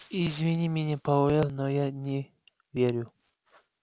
извини меня пауэлл но я не верю